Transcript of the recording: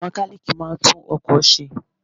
Mẹkálíkì máa ń tún ọkọ̀ ṣe.